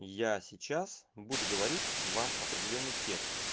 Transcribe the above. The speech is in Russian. я сейчас буду говорить вам определённый текст